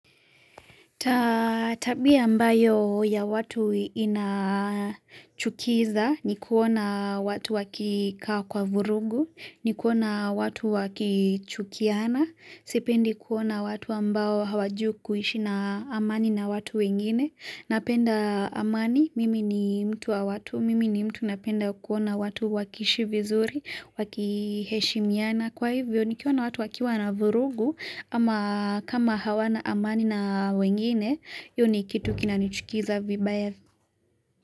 Tabia ambayo ya watu inachukiza ni kuona watu wakikaa kwa vurugu, ni kuona watu wakichukiana, sipendi kuona watu ambao hawajuku ishi na amani na watu wengine, napenda amani, mimi ni mtu wa watu, mimi ni mtu napenda kuona watu wakiishi vizuri, wakiheshimiana. Na kwa hivyo nikiona watu wakiwa na vurugu ama kama hawana amani na wengine hio ni kitu kinanichukiza vibaya.